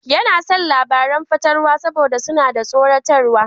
Yana son labaran fatalwa saboda suna da tsoratarwa.